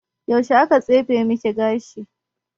Yaushe aka tsefe maki gashi?